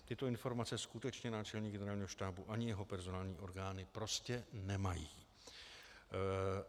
Tyto informace skutečně náčelník Generálního štábu ani jeho personální orgány prostě nemají.